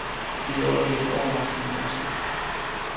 Det bliver i øjeblikke overraskende morsomt.